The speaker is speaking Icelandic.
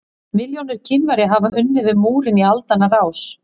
Milljónir Kínverja hafa unnið við múrinn í aldanna rás.